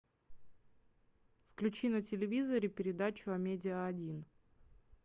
включи на телевизоре передачу амедиа один